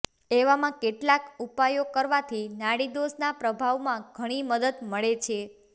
એવામાં કેટલાક ઉપાયો કરવાથી નાડી દોષના પ્રભાવમાં ઘણી મદદ મળે છે